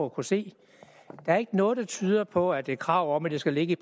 at kunne se der er ikke noget der tyder på at et krav om at det skal ligge